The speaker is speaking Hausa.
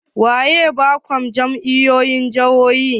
Waye bakon jami'o'in jihohi?